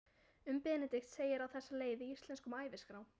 Um Benedikt segir á þessa leið í Íslenskum æviskrám